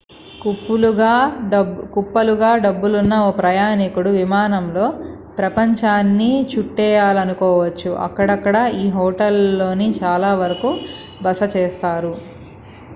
కుప్పలుగా డబ్బులున్న ఓ ప్రయాణికుడు విమానంలో ప్రపంచాన్ని చుట్టేయాలనుకోవచ్చు అక్కడక్కడా ఈ హోటళ్ళలోనే చాలా వరకు బస చేస్తారు